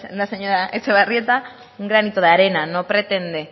la señora etxebarrieta un granito de arena no pretende